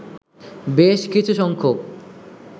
বেশ কিছু সংখ্যক